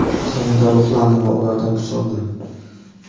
yanada ruhlandim va ulardan kuch oldim.